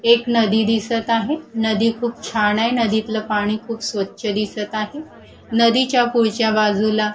एक नदी दिसत आहे नदी खूप छान आहे नदीतलं पाणी खूप स्वच्छ दिसत आहे नदीच्या पुढच्या बाजूला --